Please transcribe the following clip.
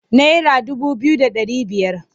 Naira dubu biyu da ɗari biyar.